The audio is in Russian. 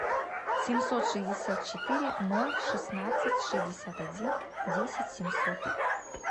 семьсот шестьдесят четыре ноль шестнадцать шестьдесят один десять семьсот